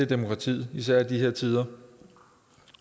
demokratiet især i de her tider